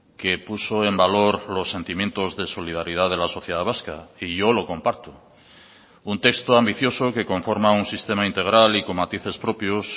que puso en valor los sentimientos de solidaridad de la sociedad vasca y yo lo comparto un texto ambicioso que conforma un sistema integral y con matices propios